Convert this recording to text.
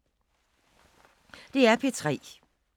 DR P3